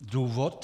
Důvod?